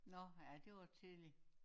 Nå ja det var tidligt